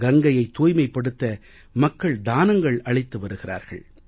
கங்கையைத் தூய்மைப்படுத்த மக்கள் தானங்கள் அளித்து வருகிறார்கள்